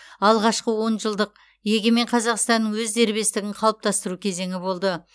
алғашқы он жылдық егемен қазақстанның өз дербестігін қалыптастыру кезеңі болды